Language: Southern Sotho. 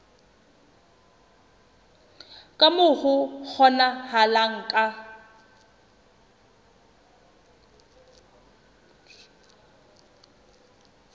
ka moo ho kgonahalang ka